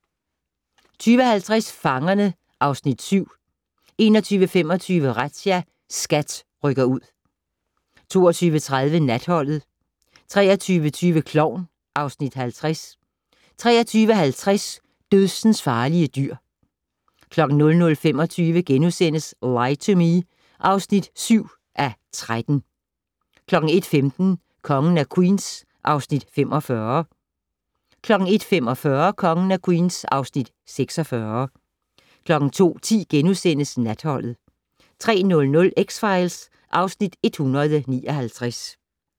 20:50: Fangerne (Afs. 7) 21:25: Razzia - SKAT rykker ud 22:30: Natholdet 23:20: Klovn (Afs. 50) 23:50: Dødsensfarlige dyr 00:25: Lie to Me (7:13)* 01:15: Kongen af Queens (Afs. 45) 01:45: Kongen af Queens (Afs. 46) 02:10: Natholdet * 03:00: X-Files (Afs. 159)